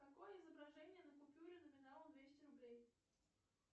какое изображение на купюре номиналом двести рублей